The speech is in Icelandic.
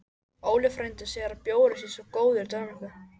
Óli frændi segir að bjórinn sé svo góður í Danmörku